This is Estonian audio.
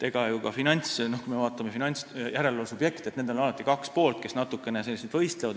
Kui me vaatame finantsjärelevalve subjekte, siis nendel on alati kaks poolt, kes natukene võistlevad.